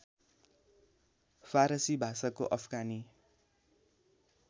फारसी भाषाको अफगानी